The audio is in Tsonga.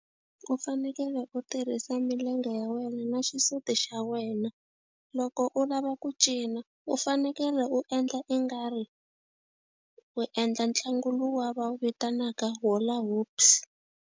U fanekele u tirhisa milenge ya wena na xisuti xa wena. Loko u lava ku cina, u fanekele u endla ingari u endla ntlangu luwa va wu vitanaka hula hoops.